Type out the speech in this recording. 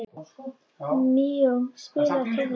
Míó, spilaðu tónlist.